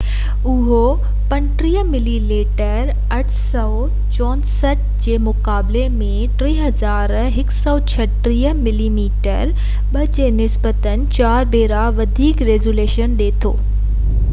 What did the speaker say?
اهو 35 millimetre 864 جي مقابلي ۾ 3136 ملي ميٽر 2 جي نسبتاً 4 ڀيرا وڌيڪ ريزوليشن ڏي ٿو